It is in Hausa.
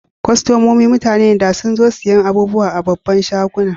Kostomomi mutane ne da sun zo siyan abubuwa a'babban shagunan.